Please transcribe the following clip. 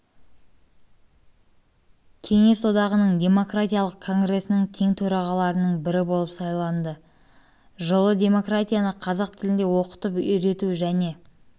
одағының демократиялық конгресінің тең төрағаларының бірі болып сайланады жылы демократияны қазақ тілінде оқытып үйрету және